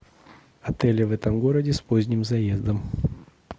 отели в этом городе с поздним заездом